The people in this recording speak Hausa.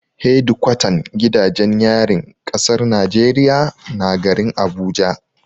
Hedikwatan gidajen yarin kasar Najeriya na garin Abuja.